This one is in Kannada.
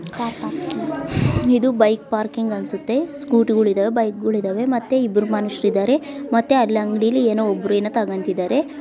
ಕಾರ್ ಪಾರ್ಕಿಂಗ್ ಇದು ಬೈಕ್ ಪಾರ್ಕಿಂಗ್ ಅನ್ಸುತ್ತೆ ಸ್ಕೂಟಿಗಳು ಇದಾವೆ ಬೈಕ್ ಗಳು ಇದಾವೆ ಮತ್ತೆ ಇಬ್ರು ಮನಷರು ಇದ್ದಾರೆ. ಮತ್ತೆ ಅಲ್ಲಿ ಅಂಗಡಿ ಅಲ್ಲಿ ಏನೋ ಒಬ್ರು ಏನೋ ತೊಗೊಂತ್ತಿದಾರೆ.